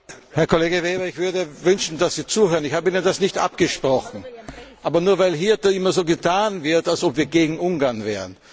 Herr Kollege Weber, ich würde wünschen, dass Sie zuhören. Ich habe Ihnen das nicht abgesprochen. Aber nur weil hier immer so getan wird, als ob wir gegen Ungarn wären.